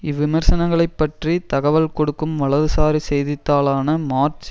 இவ்விமர்சனங்களைப் பற்றி தகவல் கொடுக்கும் வலதுசாரி செய்தித்தாளான மார்ச்